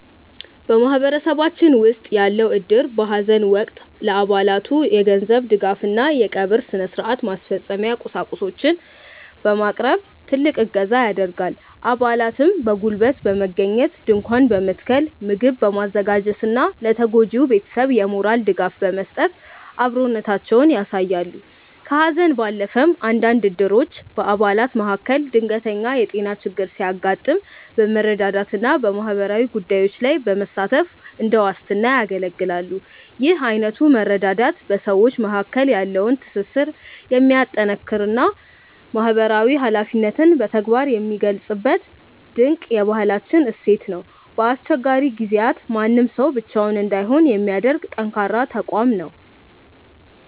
በማህበረሰባችን ውስጥ ያለው እድር በሐዘን ወቅት ለአባላቱ የገንዘብ ድጋፍና የቀብር ሥነ-ሥርዓት ማስፈጸሚያ ቁሳቁሶችን በማቅረብ ትልቅ እገዛ ያደርጋል። አባላትም በጉልበት በመገኘት ድንኳን በመትከል፣ ምግብ በማዘጋጀትና ለተጎጂው ቤተሰብ የሞራል ድጋፍ በመስጠት አብሮነታቸውን ያሳያሉ። ከሐዘን ባለፈም፣ አንዳንድ እድሮች በአባላት መካከል ድንገተኛ የጤና ችግር ሲያጋጥም በመረዳዳትና በማህበራዊ ጉዳዮች ላይ በመሳተፍ እንደ ዋስትና ያገለግላሉ። ይህ አይነቱ መረዳዳት በሰዎች መካከል ያለውን ትስስር የሚያጠናክርና ማህበራዊ ኃላፊነትን በተግባር የሚገልጽበት ድንቅ የባህል እሴታችን ነው። በአስቸጋሪ ጊዜያት ማንም ሰው ብቻውን እንዳይሆን የሚያደርግ ጠንካራ ተቋም ነው።